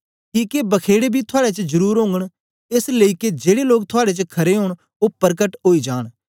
किके बखेड़े बी थुआड़े च जरुर ओगन एस लेई के जेड़े लोग थुआड़े च खरे ओंन ओ परकट ओई जांन